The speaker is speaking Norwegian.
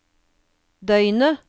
døgnet